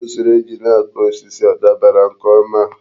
Usoro esi na-akụ osisi a dabara nke ọma?